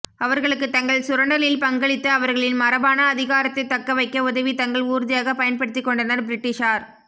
அவர்களுக்கு தங்கள் சுரண்டலில் பங்களித்து அவர்களின் மரபான அதிகாரத்தை தக்கவைக்க உதவி தங்கள் ஊர்தியாக பயன்படுத்திக்கொண்டனர் பிரிட்டிஷார்